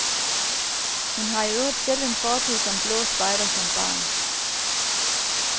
Hun har i øvrigt selv en fortid som blå spejder som barn.